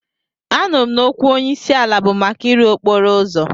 Anụrụ m na okwu onyeisiala bụ maka ịrụ okporo ụzọ.